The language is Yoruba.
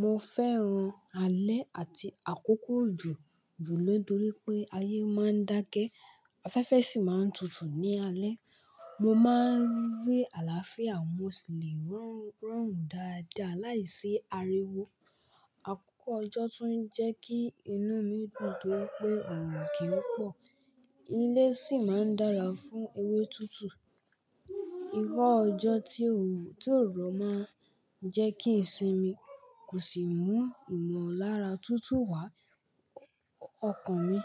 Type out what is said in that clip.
Mo fẹ́ràn alẹ́ àti àkókò òjò jùlo nítorí pé ayé máa ń dákẹ́, afẹ́fẹ́ sì máa ń tutù ní alẹ́. Mo máa ń rí àlàáfíà, mo sì lè rọrùn dáadáa láìsí ariwo. Àkókò ọjọ́ tún jẹ́ kí inú mi dùn pé ọ̀ràn kì í pọ̀, ilé sì máa ń dára fún ewé tútù. Irọ́ ọjọ́ tí o ò rọ̀ máa ń jẹ́ kí ìsinmi kò sì mú ìmọ̀lára tútù wá. Ọkàn mi